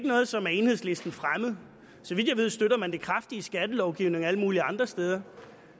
noget som er enhedslisten fremmed så vidt jeg ved støtter man det kraftigt skattelovgivning og alle mulige andre steder